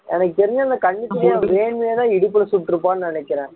எனக்கு தெரிஞ்சு அந்த கண்ணுக்கினியா வேணும்னேதான் இடுப்புல சுட்டுருப்பான்னு நினைக்கறேன்